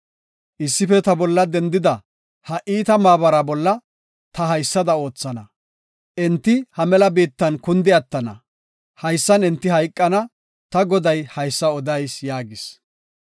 Issife ta bolla dendida ha iita maabara bolla ta haysada oothana; enti ha mela biittan kundi attana; haysan enti hayqana; ta Goday haysa odayis” yaagis.